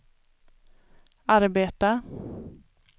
arbeta